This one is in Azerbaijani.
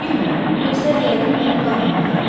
Bilmirəm, o gözlər yəqin mənim qarnımdadır.